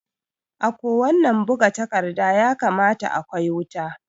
A ko wannan buga takarda ya kamata a kwai wuta